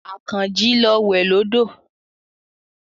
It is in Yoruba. Àkànjí lọ wẹ̀ lódò.